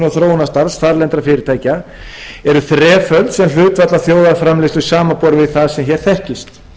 þróunarstarfs þarlendra fyrirtækja eru þreföld sem hlutfall af þjóðarframleiðslu samanborið við það sem hér þekkist